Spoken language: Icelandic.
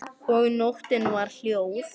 Og nóttin var hljóð.